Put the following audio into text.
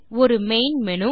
ஒரு main menu